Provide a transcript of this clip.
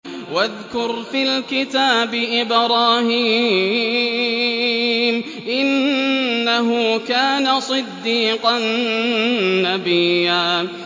وَاذْكُرْ فِي الْكِتَابِ إِبْرَاهِيمَ ۚ إِنَّهُ كَانَ صِدِّيقًا نَّبِيًّا